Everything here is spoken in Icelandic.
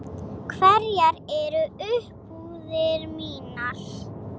Hverjar eru umbúðir mínar?